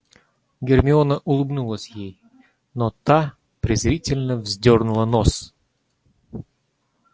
гермиона улыбнулась ей но та презрительно вздёрнула нос